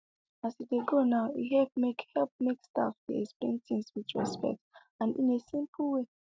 as e dey go now e help make help make staff dey explain things with respect and in a simple way